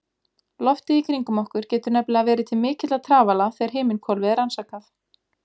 Loftið í kringum okkur getur nefnilega verið til mikilla trafala þegar himinhvolfið er rannsakað.